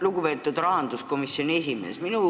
Lugupeetud rahanduskomisjoni esimees!